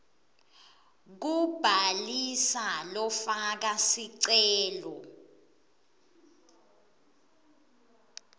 kubhalisa lofaka sicelo